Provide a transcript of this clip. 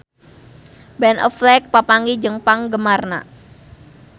Ben Affleck papanggih jeung penggemarna